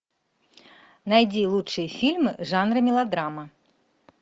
найди лучшие фильмы жанра мелодрама